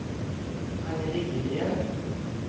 Agne Liljegren